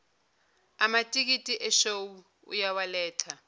amatikiti eshow uyawaletha